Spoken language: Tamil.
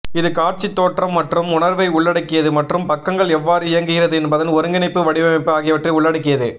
இது காட்சி தோற்றம் மற்றும் உணர்வை உள்ளடக்கியது மற்றும் பக்கங்கள் எவ்வாறு இயங்குகிறது என்பதன் ஒருங்கிணைப்பு வடிவமைப்பு ஆகியவற்றை உள்ளடக்கியது